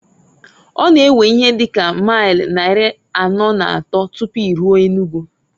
Ọ na ewe ihe dị ka mail nnari anọọ na atọọ tupu iruo Enugu.